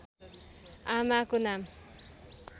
आमाको नाम